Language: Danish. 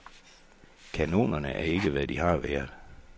Kanonerne er ikke, hvad de har været.